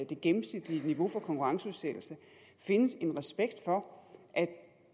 det gennemsnitlige niveau for konkurrenceudsættelse findes en respekt for